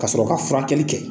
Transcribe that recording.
Ka sɔrɔ ka furakɛli kɛ.